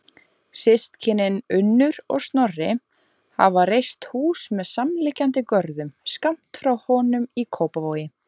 Systkinin, Unnur og Snorri, hafa reist hús með samliggjandi görðum skammt frá honum í Kópavogi.